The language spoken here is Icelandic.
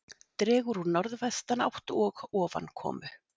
Dregur úr norðvestanátt og ofankomu